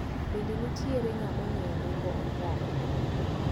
Bende nitiere ng`ama ong`eyo nengo omuogo.